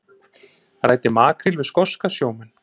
Ræddi makríl við skoska sjómenn